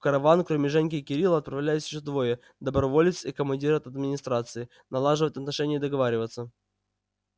в караван кроме женьки и кирилла отправлялись ещё двое доброволец и командир от администрации налаживать отношения и договариваться